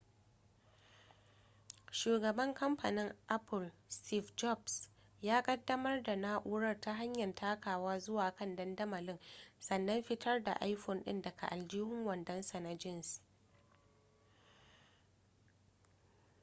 shugaban kamfanin apple steve jobs ya kaddamar da na'urar ta hanyar takawa zuwa kan dandamalin sannan fitar da iphone din daga aljihun wandonsa na jeans